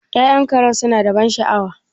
Ya'yan Karen suna da ban sha'awa?